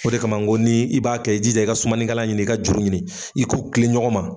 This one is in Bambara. O de kama ngo ni i b'a kɛ i jija i ka sumanikɛla ɲini ka juru ɲini i k'u kilen ɲɔgɔn ma.